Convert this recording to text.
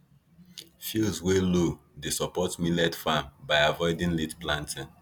fields wey low dey support millet farm by avoiding late planting